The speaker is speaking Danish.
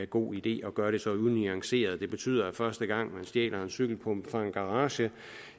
god idé at gøre det så unuanceret det betyder at første gang man stjæler en cykelpumpe fra en garage